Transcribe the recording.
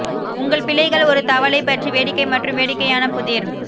உங்கள் பிள்ளைகள் ஒரு தவளை பற்றி வேடிக்கை மற்றும் வேடிக்கையான புதிர்